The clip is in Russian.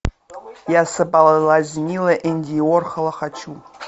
я соблазнила энди уорхола хочу